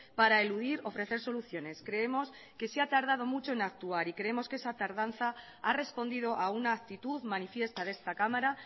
para eludir ofrecer soluciones creemos que se ha tardado mucho en actuar y creemos que esa tardanza ha respondido a una actitud manifiesta de esta cámara